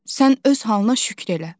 Sən öz halına şükr elə.